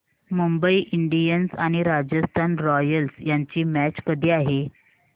Mumbai Indians आणि Rajasthan Royals यांची match कधी आहे